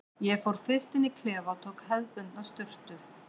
Ég fór fyrst inn í klefa og tók hefðbundna sturtu.